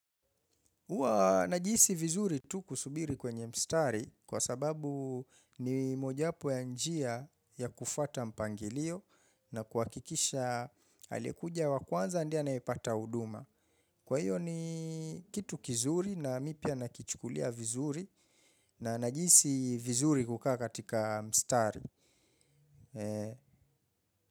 Huwa najihisi vizuri tu kusubiri kwenye mstari kwa sababu ni mojapo ya njia ya kufuata mpangilio na kuhakikisha aliyekuja wa kwanza ndie anayepata huduma. Kwa hiyo ni kitu kizuri na mi pia nakichukulia vizuri na najihisi vizuri kukaa katika mstari.